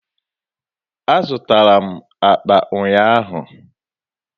Azụtara m akpa ụnyaahụ.